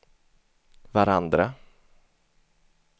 varandra